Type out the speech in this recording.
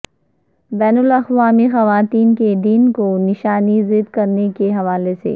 بین الاقوامی خواتین کے دن کو نشان زد کرنے کے حوالے سے